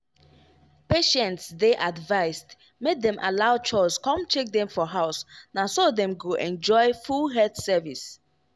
patients dey advised make dem allow chws come check dem for house na so dem go enjoy full health service.